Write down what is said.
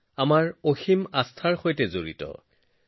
আপোনালোক সকলোকে ২০২৪ বৰ্ষৰ আন্তৰিক শুভেচ্ছা জনাইছো